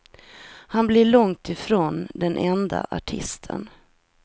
Han blir långt ifrån den enda artisten.